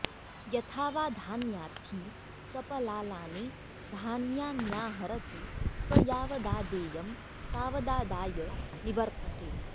यथा वा धान्यार्थी सपलालानि धान्यान्याहरति स यावदादेयं तावदादाय निवर्तते